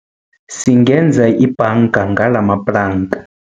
Singenza ibhanga ngalamaplanka.